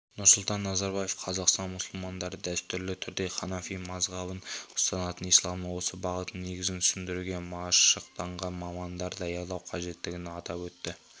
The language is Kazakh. нұрсұлтан назарбаев қазақстан мұсылмандары дәстүрлі түрде ханафи мазхабын ұстанатынын исламның осы бағытының негізін түсіндіруге машықтанған мамандар даярлау қажеттігін атап өтті